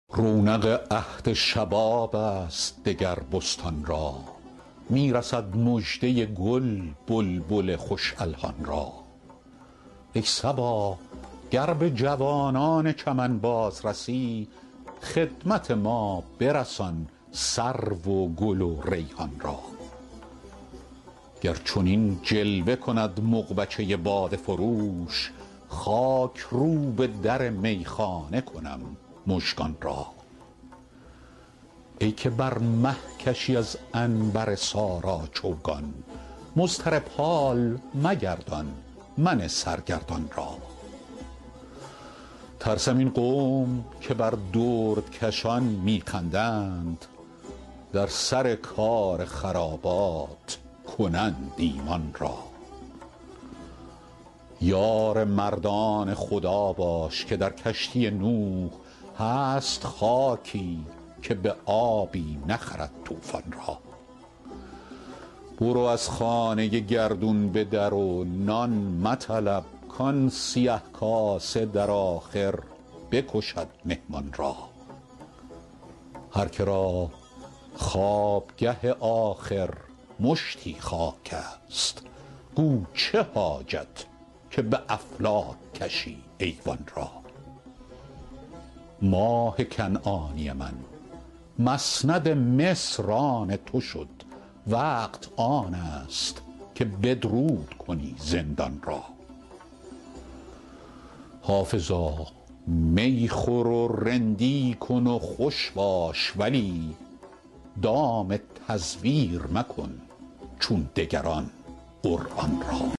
رونق عهد شباب است دگر بستان را می رسد مژده گل بلبل خوش الحان را ای صبا گر به جوانان چمن باز رسی خدمت ما برسان سرو و گل و ریحان را گر چنین جلوه کند مغبچه باده فروش خاک روب در میخانه کنم مژگان را ای که بر مه کشی از عنبر سارا چوگان مضطرب حال مگردان من سرگردان را ترسم این قوم که بر دردکشان می خندند در سر کار خرابات کنند ایمان را یار مردان خدا باش که در کشتی نوح هست خاکی که به آبی نخرد طوفان را برو از خانه گردون به در و نان مطلب کآن سیه کاسه در آخر بکشد مهمان را هر که را خوابگه آخر مشتی خاک است گو چه حاجت که به افلاک کشی ایوان را ماه کنعانی من مسند مصر آن تو شد وقت آن است که بدرود کنی زندان را حافظا می خور و رندی کن و خوش باش ولی دام تزویر مکن چون دگران قرآن را